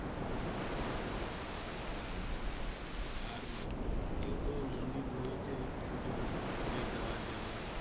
হ্যাঁ আর যেহেতু মন্দির রয়েছে পুজোর সবাই দেওয়া যাবে